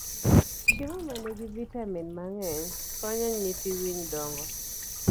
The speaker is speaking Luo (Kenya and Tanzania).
Chiemo ma nigi vitamin mang'eny konyo nyithii winy dongo.